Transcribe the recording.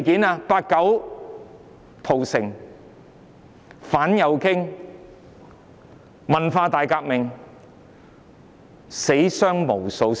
包括"八九屠城"、反右傾運動、文化大革命，死傷無數。